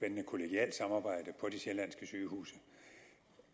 kollegialt samarbejde på de sjællandske sygehuse